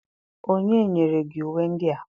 onye nyere gi uwe ndia?